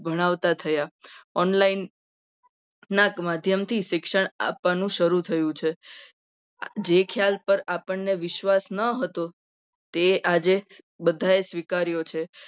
ભણાવતા થયા. online ના માધ્યમથી શિક્ષણ આપવાનું શરૂ થયું છે. જે ખ્યાલ પર આપણને વિશ્વાસ ન હતો. તે આજે બધા જ સ્વીકાર્યો છે.